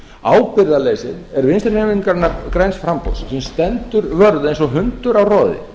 ábyrgðarleysið er vinstri hreyfingarinnar græns framboðs sem stendur vörð eins og hundur á roði